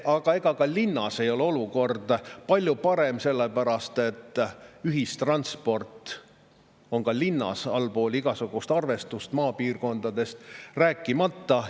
Aga ega ka linnas ei ole olukord palju parem, sellepärast et ühistransport on ka linnas allpool igasugust arvustust, maapiirkondadest rääkimata.